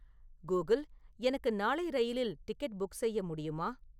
Google எனக்கு நாளை ரயிலில் டிக்கெட் புக் செய்ய முடியுமா